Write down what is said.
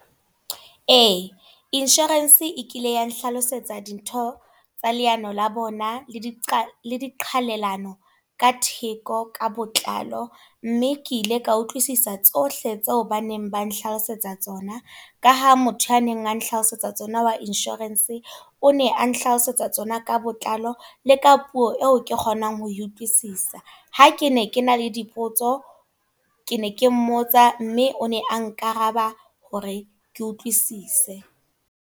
Ee, insurance e kile ya nhlalosetsa dintho, tsa leano la bona, le diqhalelano ka theko ka botlalo. Mme ke ile ka utlwisisa tsohle tse neng ba nhlalosetsa tsona. Ka ha motho ya neng a nhlalosetsa tsona wa insurance, o ne a nhlalosetsa tsona ka botlalo le ka puo eo ke kgonang ho e utlwisisa. Ha ke ne ke na le dipotso, ke ne ke mmotsa, mme o ne a nkaraba hore ke utlwisise.